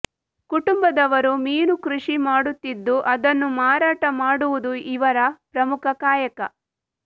ಕುಟುಂಬದವರು ಮೀನು ಕೃಷಿ ಮಾಡುತ್ತಿದ್ದು ಅದನ್ನು ಮಾರಾಟ ಮಾಡುವುದು ಇವರ ಪ್ರಮುಖ ಕಾಯಕ